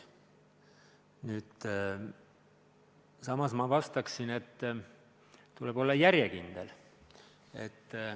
Nüüd aga vastaksin veel, et tuleb olla järjekindel.